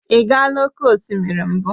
Ị gaala oke osimiri mbụ?